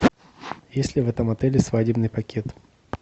есть ли в этом отеле свадебный пакет